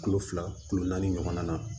Kulo fila kulo naani ɲɔgɔnna